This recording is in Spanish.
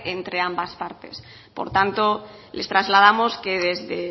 entre ambas partes por tanto les trasladamos que desde